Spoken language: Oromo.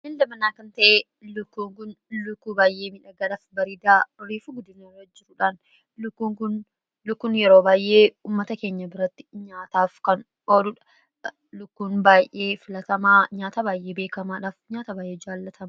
ain dabanaa kan ta'e lukkuunkun lukkuu baay'ee midhagadhaf bariidaa riifuu guddinrra jiruudhaan lukkun yeroo baay'ee ummata keenya biratti nyaataaf kan ooduudha lukkuun baay'ee filatamaa nyaata baay'ee beekamaadhaaf nyaata baay'ee jaallatama